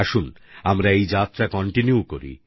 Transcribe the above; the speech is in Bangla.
আসুন আমরা এই যাত্রা কন্টিনিউ করি